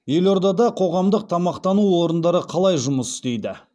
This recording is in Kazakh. елордада қоғамдық тамақтану орындары қалай жұмыс істейді